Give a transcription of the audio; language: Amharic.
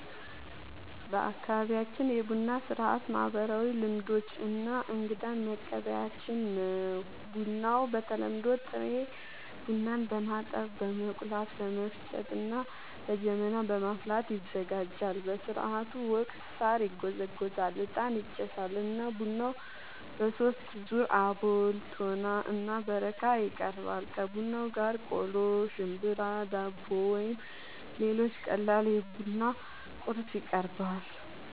በአካባቢያችን የቡና ሥርዓት ማህበራዊ ልምዶች እና እንግዳን መቀበያችን ነው። ቡናው በተለምዶ ጥሬ ቡናን በማጠብ፣ በመቆላት፣ በመፍጨት እና በጀበና በማፍላት ይዘጋጃል። በሥርዓቱ ወቅት ሣር ይጎዘጎዛል፣ ዕጣን ይጨሳል እና ቡናው በሦስት ዙር (አቦል፣ ቶና እና በረካ) ይቀርባል። ከቡናው ጋር ቆሎ፣ ሽምብራ፣ ዳቦ ወይም ሌሎች ቀላል የቡና ቁርስ